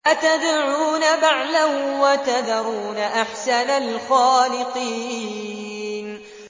أَتَدْعُونَ بَعْلًا وَتَذَرُونَ أَحْسَنَ الْخَالِقِينَ